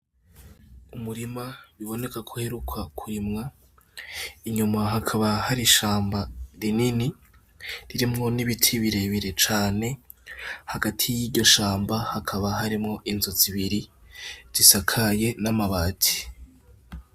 Umurima biboneka ko uheruka kurimwa inyuma hakaba hari ishamba rinini ririmwo n' ibiti bire bire cane, hagati yiryo shamba hakaba harimwo inzu zibiri zisakaye n' amabati.